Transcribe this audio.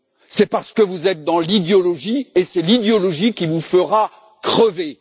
C'est parce que vous êtes dans l'idéologie, et c'est l'idéologie qui vous fera crever.